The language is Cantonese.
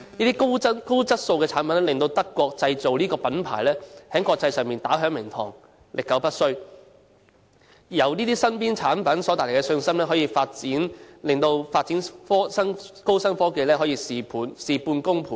這些高質素的產品令"德國製造"這個品牌，在國際上打響名堂、歷久不衰，而由這些日常產品所帶來的信心，令發展高新科技可以事半功倍。